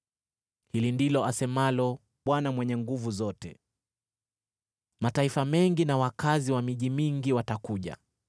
Hili ndilo asemalo Bwana Mwenye Nguvu Zote: “Mataifa mengi na wakazi wa miji mingi watakuja,